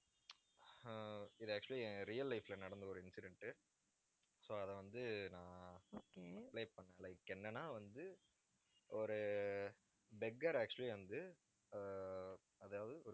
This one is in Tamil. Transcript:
ஆஹ் இது actually என் real life ல நடந்த ஒரு incident so அதை வந்து நான் ஆஹ் play பண்ணேன். like என்னன்னா வந்து, ஒரு beggar actually வந்து ஆஹ் அதாவது ஒரு